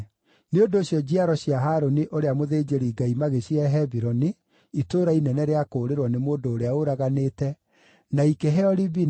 Nĩ ũndũ ũcio njiaro cia Harũni ũrĩa mũthĩnjĩri-Ngai magĩcihe Hebironi (itũũra inene rĩa kũũrĩrwo nĩ mũndũ ũrĩa ũraganĩte), na ikĩheo Libina,